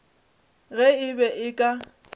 ge e be e ka